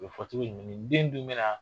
o bɛ fɔ cogo jumɛn nin den in dun bɛna